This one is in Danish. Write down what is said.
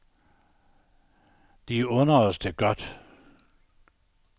De under os det godt.